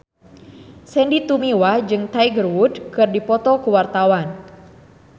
Sandy Tumiwa jeung Tiger Wood keur dipoto ku wartawan